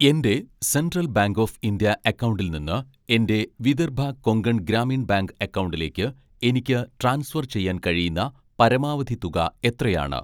എൻ്റെ central bank of India അക്കൗണ്ടിൽ നിന്ന് എൻ്റെ വിദർഭ കൊങ്കൺ ഗ്രാമീൺ ബാങ്ക് അക്കൗണ്ടിലേക്ക് എനിക്ക് ട്രാൻസ്ഫർ ചെയ്യാൻ കഴിയുന്ന പരമാവധി തുക എത്രയാണ്?